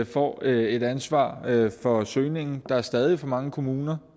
får et ansvar for søgningen der er stadig for mange kommuner